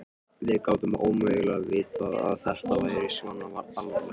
Við gátum ómögulega vitað að þetta væri svona alvarlegt.